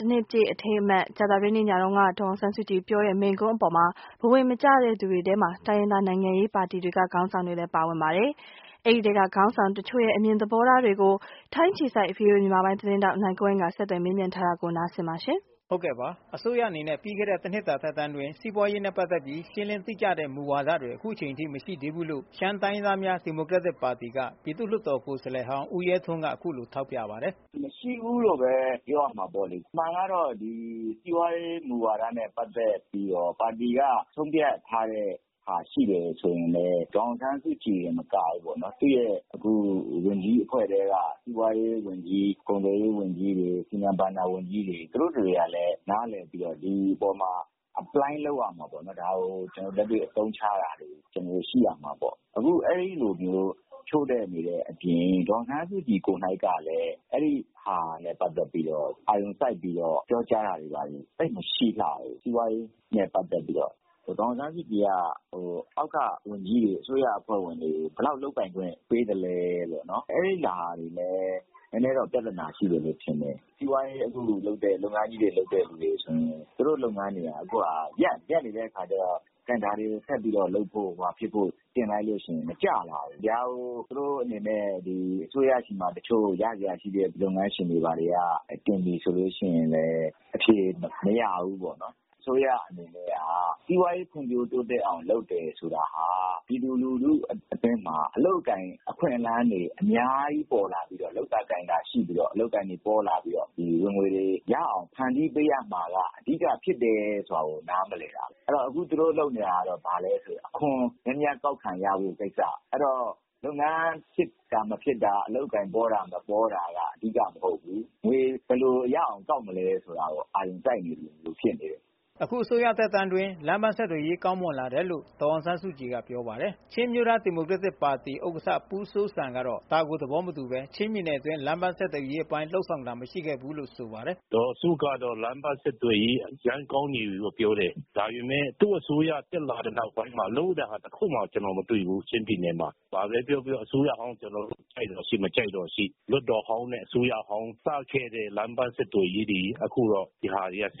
တနှစ်ပြည့်အထိမ်းအမှတ် ကြာသပတေးနေ့ညက ဒေါ်အောင်ဆန်းစုကြည်ပြောတဲ့ မိန့်ခွန်းအပေါ် ဘဝင်မကျလှသူတွေထဲမှာ တိုင်းရင်းသားနိုင်ငံရေးပါတီတွေက ခေါင်းဆောင်တွေလဲပါဝင်ပါတယ်။ အဲဒီထဲက ခေါင်းဆောင်တချို့ရဲ့ အမြင်သဘောထားတွေကို ဗွီအိုအေထိုင်းအခြေစိုက်သတင်းထောက် နိုင်ကွန်းအိမ်က ဆက်သွယ် မေးမြန်းပြီး တင်ပြထားပါတယ်။ အစိုးရအနေနဲ့ပြီးခဲ့တဲ့တနှစ်တာသက်တမ်းအတွင်း စီးပွားရေးနဲ့ပတ်သက်ပြီး ရှင်းလင်းတိကျတဲ့မူဝါဒတွေ အခုချိန်ထိ မရှိသေးဘူးလို့ ရှမ်းတိုင်းရင်းသားများ ဒီမိုကရက်တစ်ပါတီက ပြည်သူ့လွှတ်တော်ကိုယ်စားလှယ်ဟောင်း ဦးရဲထွန်းက အခုလို ထောက်ပြပါတယ်။ " မရှိဘူးလို့ပဲပြောရမှာပေါ့လေ။ အမှန်ကတော့ ဒီစီးပွားရေးမူဝါဒနဲ့ပတ်သက်ပြီးတော့ ပါတီက ဆုံးဖြတ်ထားတဲ့ဟာရှိတယ်ဆိုရင်လည်း ဒေါ်အောင်ဆန်းစုကြည်တင် မကဘူးပေါ့နော် သူ့ရဲ့ ဝန်ကြီးအဖွဲ့ထဲက စီးပွားရေးဝန်ကြီး၊ ကုန်သွယ်ရေးဝန်ကြီး၊ စီမံဘဏ္ဍာဝန်ကြီးတွေ သူတို့တတွေက နားလည်ပြီးတော့ ဒီအပေါ်မှာ Apply လုပ်ရမှာပေါ့နော်။ ဒါကို လက်တွေ့အသုံးချရတာ ရှိရမှာပေါ့။ အခု အဲ့ဒီ့လိုမျိုးခ ျို့တဲ့နေတဲ့ အပြင် ဒေါ်အောင်ဆန်းစုကြည်ကိုယ်တိုင်ကလည်း အဲ့တာနဲ့ပတ်သက်ပြီးတော့ အာရုံစိုက်ပြောကြားတာ သိပ်မရှိလှဘူး။ စီးပွားရေးနဲ့ပတ်သက်ပြီးတော့ ဒေါ်အောင်ဆန်းစုကြည်က အောက်က ဝန်ကြီးတွေ၊ အစိုးရအဖွဲ့ဝင်တွေ ဘယ်လောက် လုပ်ပိုင်ခွင့်ပေးသလဲ။ အဲ့တာတွေလည်း နည်းနည်းတော့ ပြသနာရှိတယ်လို့ထင်တယ်။ စီးပွားရေးလုပ်တဲ့ အခုလုပ်ငန်းကြီးတွေ လုပ်တဲ့သူတွေ ဆိုရင် သူတို့လုပ်ငန်းတွေက ရပ်နေတယ် ရပ်နေတဲ့အခါကျတော့ ဒါတွေကို ဆက်ပြီးလုပ်ဖို့ တင်လိုက်လို့ရှိရင် မကျလာဘူး။ ဒါတွေကို သူတို့အနေနဲ့ အစိုးရဆီမှာလည်း တချို့ ရစရာရှိတဲ့ လုပ်ငန်းရှင်တွေက တင်ပြီဆိုလို့ရှိရင် အဖြေမရဘူးပေါ့နော်။ အစိုးရအနေနဲ့က စီးပွားရေး ဖွံ့ဖြိုးတိုးတက်အောင် လုပ်တယ်ဆိုတာဟာ ပြည်သူလူထုဘက်မှာ အလုပ်အကိုင် အခွင့်အလမ်းတွေ အများကြီး ပေါ်လာပြီး လုပ်တာကိုင်တာရှိပြီး အလုပ်အကိုင်တွေပေါ လာပြီး ဝင်ငွေတွေ ဖန်တီးပေးရမှာ အဓိကဖြစ်တယ်ဆိုတာ နားမလည်တာပေါ့။ အဲ့တော့ အခုသူတို့လုပ်နေတာက ဘာလဲဆိုတော့ အခွန်များများကောက်ခံရမယ့်ကိစ္စ၊ အဲ့တော့ လုပ်ငန်းဖြစ်တာ မဖြစ်တာ အလုပ်အကိုင်ပေါတာ မပေါတာက အဓိက မဟုတ်ဘူး။ ငွေကို ဘယ်လိုရအောင်ကောက်မလဲဆိုတာ အာရုံစိုက်သလိုဖြစ်နေတယ်။ " အခုအစိုးရသက်တမ်းအတွင်း လမ်းပန်းဆက်သွယ်ရေး ကောင်းမွန်လာတယ်လို့ ဒေါ်အောင်ဆန်းစုကြည်ကပြောပါတယ်။ ချင်းအမျိုးသားဒီမိုကရက်တစ်ပါတီ ဥက္ကဋ္ဌ ပူးဇီုးဇမ်က ဒါကိုသဘောမတူဘဲ ချင်းပြည်နယ်အတွင်း လမ်းပန်းဆက်သွယ်ရေး အပိုင်းလုပ်ဆောင်တာမရှိခဲ့ဘူးလို့ဆိုပါတယ်။ "ဒေါ်စုကတော့ လမ်းပမ်းဆက်သွယ်ရေးအရမ်းကောင်းနေပြီပြောတယ်။ ဒါပေမဲ့ သူ့အစိုးရ တက်လာပြီးကတည်းက လုပ်တာ ကျနော် တခုမှ မတွေ့ဘူး ချင်းပြည်နယ်မှာ။ ဘာပဲပြောပြော အစိုးရဟောင်း ကျနော်တို့ ကြိုက်သော်ရှိ၊ မကြိုက်သော်ရှိ၊ လွှတ်တော်ဟောင်း နဲ့ အစိုးရဟောင်း စခဲ့တဲ့ လမ်းပမ်းဆက်သွယ်ရေးတွေ ဒါတွေက အခု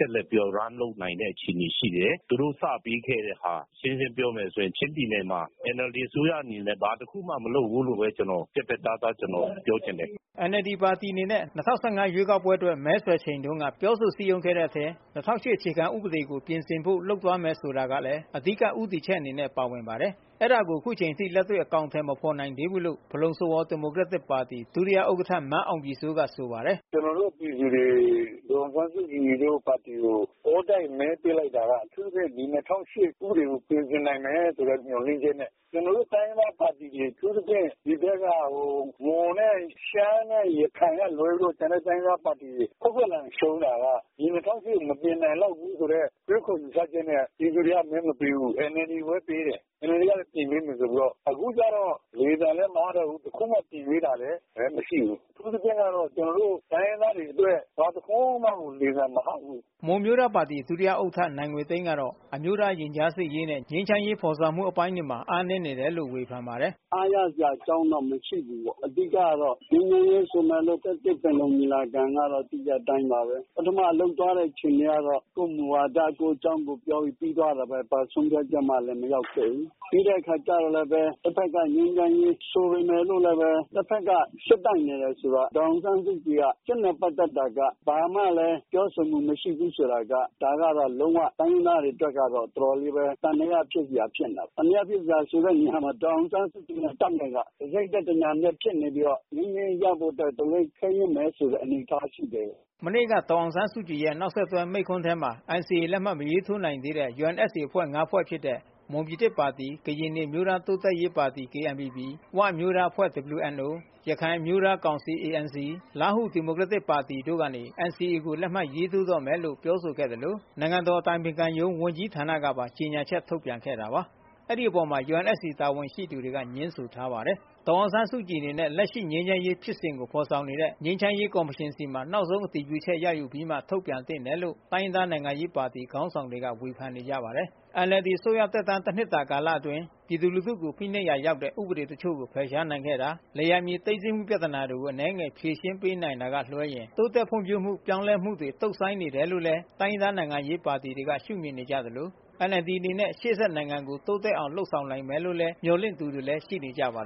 ဆက်လုပ်နိုင်တဲ့ အခြေအနေရှိတယ်။ သူတို့စပေးခဲ့တဲ့ဟာ ရှင်းရှင်းပြောမယ်ဆိုရင် ချင်းပြည်နယ်မှာ NLD အစိုးရအနေနဲ့ ဘာတခုမှ မလုပ်ဘူးလို့ပဲ ပြတ်ပြတ်သားသား ကျနော်ပြောချင်တယ်။" NLD ပါတီအနေနဲ့ ၂၀၁၅ ရွေးကောက်ပွဲအတွက် မဲဆွယ်ချိန်တုန်းက ပြောဆိုစည်းရုံးခဲ့တဲ့ထဲ ၂၀၀၈ အခြေခံဥပဒေကို ပြင်ဆင်ဖို့ လုပ်သွားမယ်ဆိုတာလဲ အဓိကဦးတည်ချက်အနေနဲ့ ပါဝင်ပါတယ်။ အဲဒါကိုအခုချိန်ထိလက်တွေ့ အကောင် အထည် မဖော်နိုင်သေးဘူးလို့ ဖလုံစဝေါဒီမိုကရက်တစ်ပါတီ ဒုတိယဥက္ကဋ္ဌ မန်းအောင်ပြည်စိုးကဆိုပါတယ်။ " ကျနော်တို့ပြည်သူတွေ ဒေါ်အောင်ဆန်းစုကြည်တို့ပါတီကို အောတိုက်မဲပေးလိုက်တာက အထူးသဖြင့် ဒီ ၂၀၀၈ ဥပဒေကို ပြင်ဆင်နိုင်မယ်ဆိုတဲ့ မျှော်လင့်ချက်နဲ့ ကျနော်တို့ တိုင်းရင်းသားပါတီတွေ အထူးသဖြင့် မွန်နဲ့ရှမ်းနဲ့ ရခိုင် တိုင်းရင်းသားပါတီတွေကလွဲရင် ခွက်ခွက်လန် ရှုံးတာက ဒီ ၂၀၀၈ ကို မပြင်နိုင်လောက်ဘူးဆိုတဲ့ ယူဆချက်နဲ့ ပြည်သူတွေက မဲမပေးဘူး။ NLD ကိုပဲ မဲပေးခဲ့တယ်။ NLD ကလည်း ပြင်ပေးမယ် ဆိုပြီးတော့ အခု လေသံလည်း မဟတော့ဘူး။ တခုမှ ပြင်ပေးတာလည်း မရှိဘူး။ အထူးသဖြင့်ကတော့ တိုင်းရင်းသားတွေအတွက် ဘာတခွန်းမှကို လေသံမဟဘူး။" မွန်အမျိုးသားပါတီ ဒုတိယဥက္ကဋ္ဌနိုင်ငွေသိန်းကတော့ အမျိုးသားရင်ကြားစေ့ရေးနဲ့ ငြိမ်းချမ်းရေးဖော်ဆောင်မှု အပိုင်း တွေမှာ အားနည်းတယ်လို့ ဝေဖန်ပါတယ်။ " အားရစရာအကြောင်းတော့ မရှိဘူးပေါ့။ အဓိက ကတော့ ငြိမ်းချမ်းရေး ၂၁ရာစု ပင်လုံညီလာခံကတော့ သိတဲ့အတိုင်းပါပဲ၊ ပထမလုပ်သွားတဲ့အခြေအနေကတော့ ကိုယ့်မူဝါဒ ကိုယ့်အကြောင်း ကိုယ်ပြောပြီး ပြီးသွားတာပဲ။ ဘာဆုံးဖြတ်ချက်မှ မရောက်ခဲ့ဘူး ပြီးတဲ့အခါကျတော့ တဘက်က ငြိမ်းချမ်းရေးဆိုပေမဲ့လို့လည်း တဘက်က စစ်တိုက်နေတယ် ဆိုတော့ ဒေါ်အောင်ဆန်းစုကြည်က စစ်နဲ့ပတ်သက်တာက ဘာမှလည်း ပြောဆိုမှု မရှိဘူး ဆိုတာက ဒါက လုံးဝ တိုင်းရင်းသားတွေ အတွက် တော်တော်လေး သံသယဖြစ်စရာ ဖြစ်နေတာပေါ့။ ဒေါ်အောင်ဆန်းစုကြည်နဲ့ တပ်နဲ့က တစိတ်တည်း တညဏ် တည်းဖြစ်နေ ပြီးတော့ ငြိမ်းချမ်းရေးရဖို့အတွက် အတော်လေး ခဲယဉ်းမယ်ဆိုတဲ့ အနေအထားရှိတယ်။" မနေ့က ဒေါ်အောင်ဆန်းစုကြည်ရဲ့နောက်ဆက်တွဲ မိန့်ခွန်းထဲမှာ NCA လက်မှတ်မရေးထိုးနိုင်သေးတဲ့ UNFC အဖွဲ့ဝင် ၅ ဖွဲ့ဖြစ်တဲ့ မွန်ပြည်သစ်ပါတီ၊ ကရင်နီအမျိုးသားတိုးတက်ရေးပါတီ KNPP၊ ၀ အမျိုးသားအဖွဲ့ WNO၊ ရခိုင် အမျိုးသား ကောင်စီ ANC၊ လားဟူဒီမိုကရက်တစ်ပါတီတို့ကနေ NCA ကို လက်မှတ်ရေးထိုးတော့မယ် လို့ ပြောဆိုခဲ့သလို နိုင်ငံတော် အတိုင်ပင်ခံရုံး ဝန်ကြီးဌာနကပါ ကြေညာချက်ထုတ်ပြန်ခဲ့တာပါ။ အဲဒီအပေါ် UNFC တာဝန်ရှိသူတွေက ငြင်းထားပါတယ်။ ဒေါ်အောင်ဆန်းစုကြည်အနေနဲ့ လက်ရှိငြိမ်းချမ်းရေးဖြစ်စဉ်ကိုဖေါ်ဆောင်နေတဲ့ ငြိမ်းချမ်းရေးကော်မရှင်ဆီမှာ နောက်ဆုံး အတည်ပြုချက်ရယူုပြီးမှ ထုတ်ပြန်သင့်တယ်လို့လဲ တိုင်းရင်းသားနိုင်ငံရေးပါတီခေါင်းဆောင်တွေကဝေဖန်နေကြပါတယ်။ NLDအစိုးရသက်တမ်း တနှစ်တာကာလအတွင်း ပြည်သူလူထုကို ဖိနှိပ်ရာရောက်တဲ့ ဥပဒေတချို့ကို ဖယ်ရှားနိုင်ခဲ့တာ မြေယာသိမ်းဆည်းမှုပြဿနာကို အနည်းငယ်ဖြေရှင်းပေး နိုင် တာကလွဲရင် တိုးတက်ဖွံ့ဖြိုးမှု ပြောင်းလဲလာမှုတွေ တုန့်ဆိုင်း နေတယ်လို့လဲ တိုင်းရင်းသားနိုင်ငံရေးပါတီတွေကရှုမြင်နေကြသလို NLDအနေနဲ့ ရှေ့ဆက်နိုင်ငံ တိုးတက်အောင် လုပ် ဆောင်နိုင်လိမ့်မယ်လို့ မျှော်လင့်သူတွေလဲ ိရှိနေကြပါတယ်